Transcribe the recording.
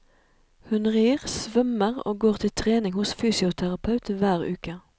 Hun rir, svømmer og går til trening hos fysioterapeut hver uke.